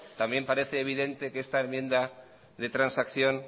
también parece evidentemente que esta enmienda de transacción